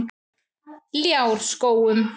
Ljárskógum